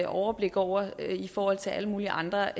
overblik over i forhold til alle mulige andre